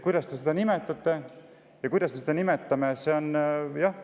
Kuidas te seda nimetaksite või kuidas me seda nimetame?